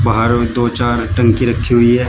बाहर दो चार टंकी रखी हुई है।